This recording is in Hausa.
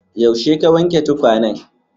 Yaushe ka wanke tukwanen?